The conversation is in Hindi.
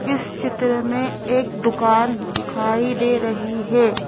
इस चित्र में एक दुकान दिखाई दे रही है।